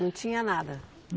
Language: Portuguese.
Não tinha nada?